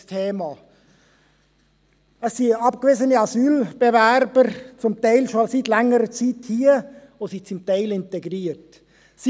Einerseits haben wir abgewiesene Asylbewerber, die seit längerer Zeit hier sind und zum Teil bereits integriert sind.